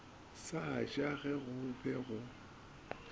sa ja ge go be